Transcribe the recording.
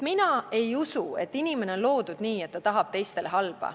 Mina ei usu, et inimene on loodud nii, et ta tahab teistele halba.